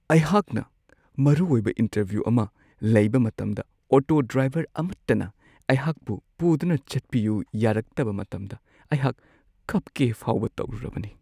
ꯑꯩꯍꯥꯛꯅ ꯃꯔꯨꯑꯣꯏꯕ ꯏꯟꯇꯔꯚ꯭ꯌꯨ ꯑꯃ ꯂꯩꯕ ꯃꯇꯝꯗ ꯑꯣꯇꯣ ꯗ꯭ꯔꯥꯏꯚꯔ ꯑꯃꯠꯇꯅ ꯑꯩꯍꯥꯛꯄꯨ ꯄꯨꯗꯨꯅ ꯆꯠꯄꯤꯌꯨ ꯌꯥꯔꯛꯇꯕ ꯃꯇꯝꯗ ꯑꯩꯍꯥꯛ ꯀꯞꯀꯦ ꯐꯥꯎꯕ ꯇꯧꯔꯨꯔꯕꯅꯤ ꯫